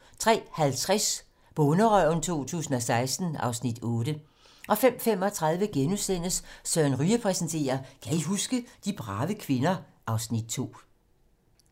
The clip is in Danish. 03:50: Bonderøven 2016 (Afs. 8) 05:35: Søren Ryge præsenterer: Kan I huske? - De brave kvinder (Afs. 2)*